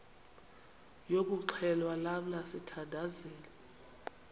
yokuxhelwa lamla sithandazel